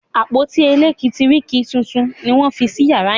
àpótí elekitiriki títún ní wón fí sí yàrá yen.